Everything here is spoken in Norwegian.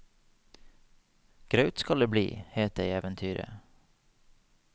Graut skal det bli, het det i eventyret.